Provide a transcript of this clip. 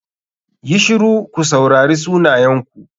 YI shiru ku saurari sunayenku.